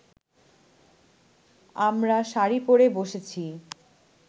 আমরা শাড়ি পড়ে বসেছি